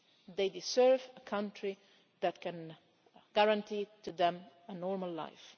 They deserve a country that can guarantee them a normal life.